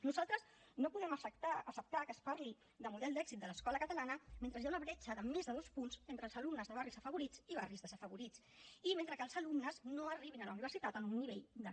nosaltres no podem acceptar que es parli de model d’èxit de l’escola catalana mentre hi ha una bretxa de més de dos punts entre els alumnes de barris afavorits i barris desafavorits i mentre que els alumnes no arribin a la universitat amb un nivell de b2